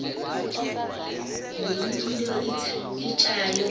le milo ithatya